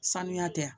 Sanuya tɛ